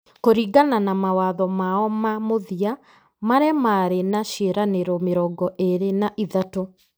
Kũringana na mawatho mao ma mũthia, marĩa maarĩ na ciĩranĩro mĩrongo ĩrĩ na ithatũ ,